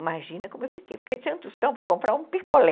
Imagina como eu fiquei, fiquei sem um tostão para comprar um picolé.